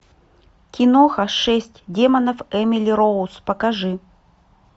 киноха шесть демонов эмили роуз покажи